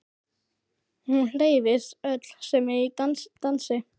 Hún hreyfist öll sem í dansi.